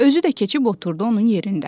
Özü də keçib oturdu onun yerində.